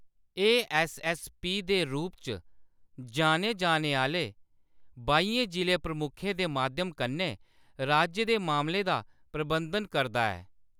एह्‌‌ ऐस्स.ऐस्स.पी. दे रूप च जान्ने जाने आह्‌‌‌ले बाइयें जिʼला प्रमुखें दे माध्यम कन्नै राज्य दे मामलें दा प्रबंधन करदा ऐ।